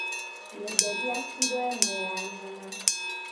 Nyenderia kirũ ĩmwe ya nyama